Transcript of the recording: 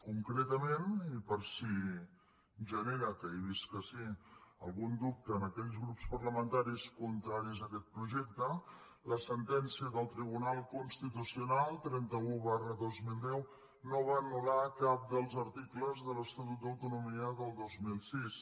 concretament i per si genera que he vist que sí algun dubte en aquells grups parlamentaris contraris a aquest projecte la sentència del tribunal constitucional trenta un dos mil deu no va anul·lar cap dels articles de l’estatut d’autonomia del dos mil sis